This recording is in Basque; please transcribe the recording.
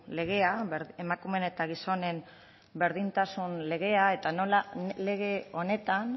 legea emakumeen eta gizonen berdintasun legea eta nola lege honetan